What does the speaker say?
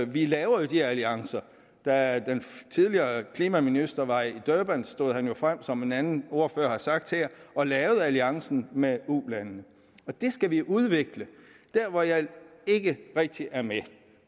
vi laver jo de alliancer da den tidligere klimaminister var i durban stod han jo frem som en anden ordfører har sagt her og lavede alliancen med ulandene og det skal vi udvikle der hvor jeg ikke rigtig er med